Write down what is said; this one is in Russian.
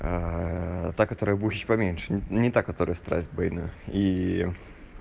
аа та которая бухич поменьше не так которая страсть бейна ии